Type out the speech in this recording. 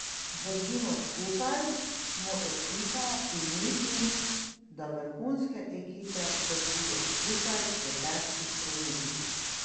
Držimo skupaj, smo ekipa in mislim, da vrhunske ekipe držijo skupaj v težkih trenutkih.